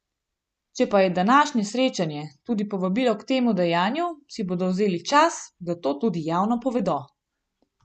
Če pa je današnje srečanje tudi povabilo k temu dejanju, si bodo vzeli čas, da to tudi javno povedo.